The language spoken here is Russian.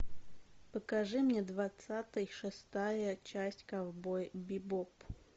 покажи мне двадцатый шестая часть ковбой бибоп